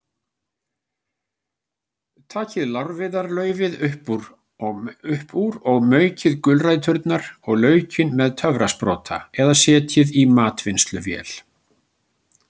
Takið lárviðarlaufið upp úr og maukið gulræturnar og laukinn með töfrasprota eða setjið í matvinnsluvél.